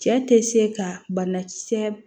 Cɛ tɛ se ka banakisɛ